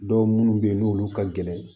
Dɔw minnu bɛ yen n'olu ka gɛlɛn